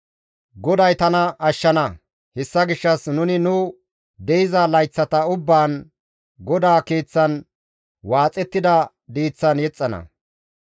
GODAY tana ashshana; hessa gishshas nuni nu de7iza layththata ubbaan, GODAA keeththan waaxettida diiththan yexxana.